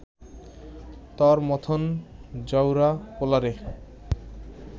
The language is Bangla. তর মথন জাউরা পোলারে